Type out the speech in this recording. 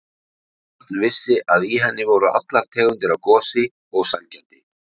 Örn vissi að í henni voru allar tegundir af gosi og sælgæti.